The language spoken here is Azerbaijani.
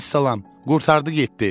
Vəssalam, qurtardı getdi.